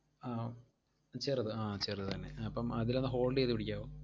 ആഹ് ചെറുത് ആഹ് ചെറുതെന്നെ. അപ്പം അതിലൊന്ന് hold ചെയ്തു പിടിക്കാവോ?